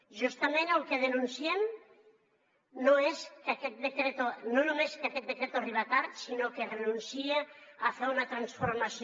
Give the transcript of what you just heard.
justament el que denunciem no és només que aquest decreto arriba tard sinó que renuncia a fer una transformació